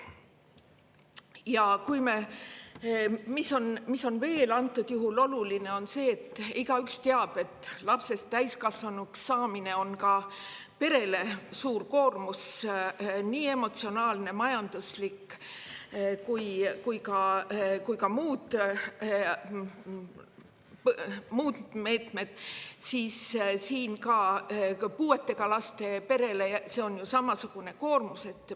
Antud juhul on veel oluline see, nagu igaüks teab, et lapse täiskasvanuks saamine on perele suur koormus, nii emotsionaalne, majanduslik kui ka muud, ja puudega lapse perele on see samasugune koormus.